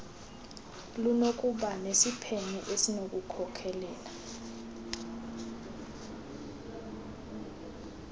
lunokuba nesiphene esinokukhokelela